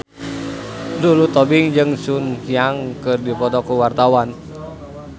Lulu Tobing jeung Sun Yang keur dipoto ku wartawan